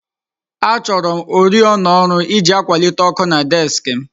Achọrọm oriọna ọrụ iji akwalite ọkụ na désik m